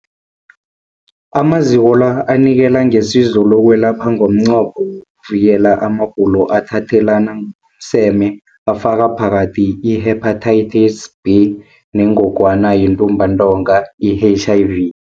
Amaziko la anikela ngesizo lokwelapha ngomnqopho wokuvikela amagulo athathelana ngokomseme afaka phakathi i-Hepatitis B neNgogwana yeNtumbantonga, i-HIV.